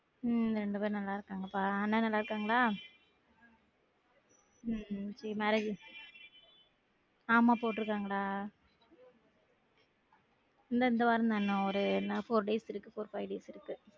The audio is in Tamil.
உம் ரெண்டு பேரும் நல்லா இருக்காங்க பா அண்ணன் நல்லா இருக்காங்களா? உம் உம் செரி marriage ஆமா போற்றுக்காங்கடா இல்ல இந்த வாரந்தான் இன்னும் ஒரு இன்னும் four days இருக்கு four five days இருக்கு